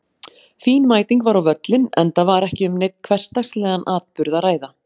Fín mæting var á völlinn enda var ekki um neinn hversdagslegan atburð að ræða.